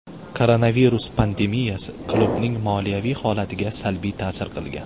Koronavirus pandemiyasi klubning moliyaviy holatiga salbiy ta’sir qilgan.